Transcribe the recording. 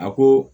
A ko